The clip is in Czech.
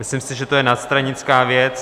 Myslím si, že to je nadstranická věc.